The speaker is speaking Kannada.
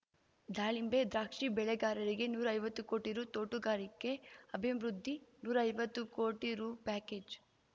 ದಾಳಿಂಬೆ ದ್ರಾಕ್ಷಿ ಬೆಳೆಗಾರರಿಗೆ ನೂರೈವತ್ತು ಕೋಟಿ ರೂ ತೋಟುಗಾರಿಕೆ ಅಭಿವೃದ್ಧಿ ನೂರೈವತ್ತು ಕೋಟಿ ರೂ ಪ್ಯಾಕೇಜ್